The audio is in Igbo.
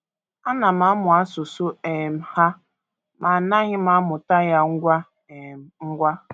Ana m amụ asụsụ um ha, ma anaghị m amụta ya ngwa um ngwa.